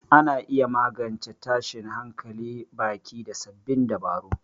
Ana iya magance tashin hankalin baki da sabbin dabaru.